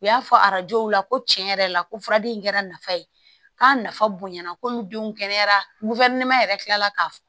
U y'a fɔ arajow la ko tiɲɛ yɛrɛ la ko furaden in kɛra nafa ye k'a nafa bonyana ko n denw kɛnɛyara yɛrɛ kila la ka